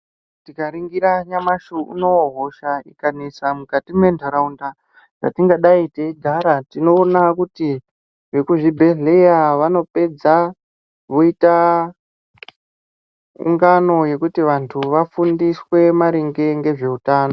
Tirikaringira nyamashi unowu hosha ikanesa mukati mwentaraunda dzatingadai teigara tinoona kuti vekuzvibhedhleya vanopedza voita ngano yekuti vantu vafundiswe maringe ngezveutano.